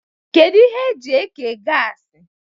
Kedu ihe eji eke gasi?